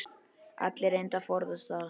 Allir reyndu að forðast það.